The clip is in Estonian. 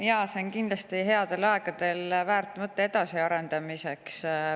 Jaa, see on kindlasti väärt mõte headel aegadel edasi arendada.